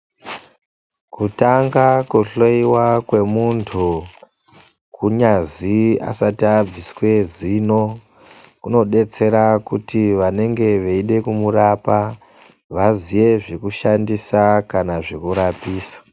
Kutanga kuhlowiwa kwemuntu kunyazi asati abviswe zino kunodetsera kuti vanenge veide kumurapa vaziye zvekushandisa kana zvekurapisa.